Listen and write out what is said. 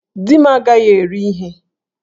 Di m agaghi eri ihe!